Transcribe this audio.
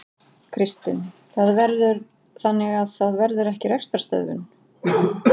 Kristinn: Þannig að það verður ekki rekstrarstöðvun?